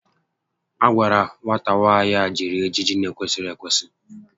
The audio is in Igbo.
A gwara nwata nwaanyị a jiri ejiji n'ekwesịghị ekwesị